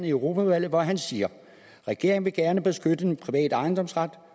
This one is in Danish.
i europaudvalget hvor han siger regeringen vil gerne beskytte den private ejendomsret